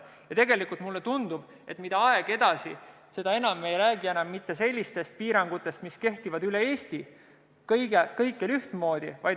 Tegelikult mulle tundub, et mida aeg edasi, seda vähem me räägime sellistest piirangutest, mis kehtivad kõikjal üle Eesti ühtmoodi.